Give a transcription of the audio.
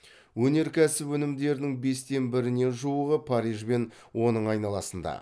өнеркәсіп өнімдерінің бестен біріне жуығы париж бен оның айналасында